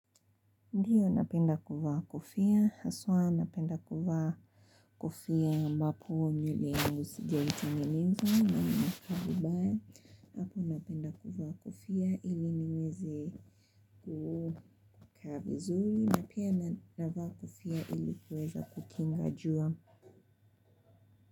Ndiyo napenda kuvaa kofia, hasa napenda kuvaa kofia wakati nywele sijazitengeneza na inakaa vibaya hapo napenda kuvaa kofia iliniweze kukaa vizuri. Napia napenda kuvaa kufia ili kuweza kukinga jua.